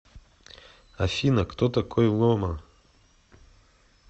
афина кто такой ломо